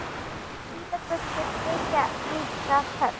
Hvítar buxur þykja líka töff.